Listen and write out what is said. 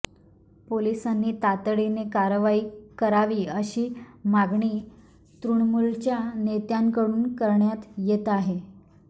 पोलिसांनी तातडीने कारवाई करावी अशी मागणी तृणमूलच्या नेत्यांकडून करण्यात येत आहे